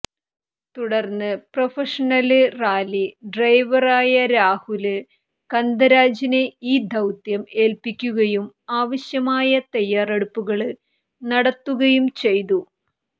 തുടര്ന്ന് professional rally driver ആയ രാഹുല് കന്ദരാജിനെ ഈ ദൌത്യം ഏല്പ്പിക്കുകയും ആവശ്യമായ തയ്യാറെടുപ്പുകള് നടത്തുകയും ചെയ്തു